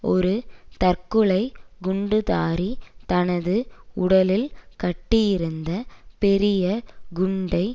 ஒரு தற்கொலை குண்டுதாரி தனது உடலில் கட்டியிருந்த பெரிய குண்டை